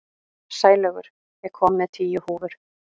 Sælaugur, ég kom með tíu húfur!